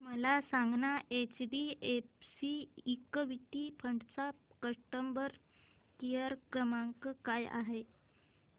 मला सांगाना HDFC equity fund चा कस्टमर केअर क्रमांक काय आहे